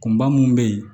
Kunba mun bɛ yen